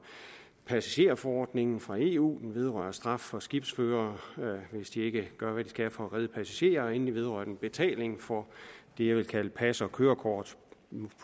passagerforordningen fra eu den vedrører straf for skibsførere hvis de ikke gør hvad de skal for at redde passagerer endelig vedrører den betaling for det jeg vil kalde pas og kørekort